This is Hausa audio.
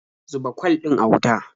Zuba kwal ɗin a wuta.